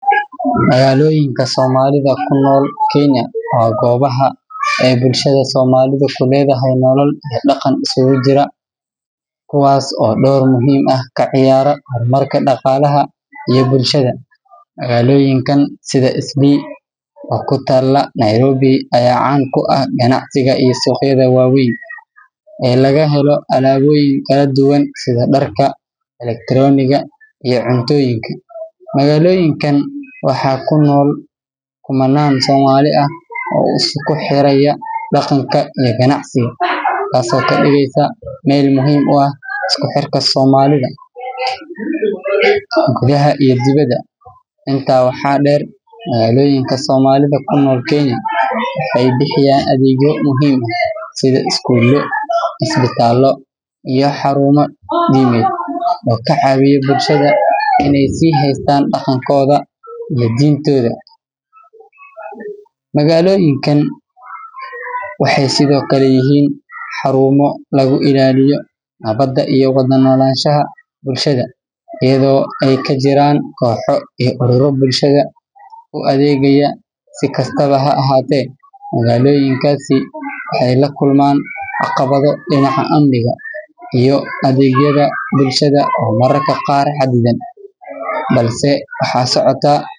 Magaloyinka somalida kunol Kenya o gobaha ay bulshada somalida kuledhay nolal iyo daqan isugujira, kuwas o dowr muhim aah kaciyara hormarka daqalaha iyo bulshada. Magaloyinkan sida Isli o kutala Nairobi aya caan kuah ganacsiga ii suqyada waweyn e lagahelo alaboyin kaladuwan sida darka, electironga iyo cuntoyinka. Magaloyinkan waxa kunol kumanan somali aah o iskuxeraya daqanka iyo ganacsiga. Tas o kadigeysa meel muhim uah iskuxerka somalida gudaha iyo dibida. Inta waxa deer magaloyinka somalida kunol Kenya ay bixiyan adegyo muhim ah sida Skuula, Ispitaalo iya xaruma dimed o kacawiyo bulshada sihaystan daqankoda iyo Dintoda. Magaloyinka waxay sido kala layahin xarumo lagu ilaliyo nabada iyo walanolashaha bulshada iyado ay kajiran koxo urura bulshada u adegaya sikastaba ha ahate magaloyinkasi waxay lakulaman caqabado dinaca amniga iyo adegyada bulshada o mararka qaar xadidan. balse waxa socota.